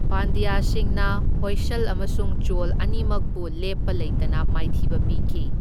ꯄꯥꯟꯗ꯭ꯌꯥꯁꯤꯡꯅ ꯍꯣꯏꯁꯜ ꯑꯃꯁꯨꯡ ꯆꯣꯜ ꯑꯅꯤꯃꯛꯄꯨ ꯂꯦꯞꯄ ꯂꯩꯇꯅ ꯃꯥꯏꯊꯤꯕ ꯄꯤꯈꯤ꯫